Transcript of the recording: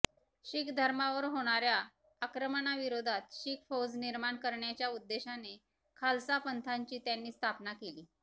शीख धर्मावर होणाऱ्या आक्रमणाविरोधात शीख फौज निर्माण करण्याच्या उद्देशाने खालसा पंथाची त्यांनी स्थापना केली